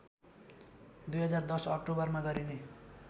२०१० अक्टोबरमा गरिने